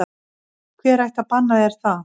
Hver ætti að banna þér það?